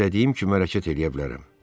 İstədiyim kimi hərəkət eləyə bilərəm.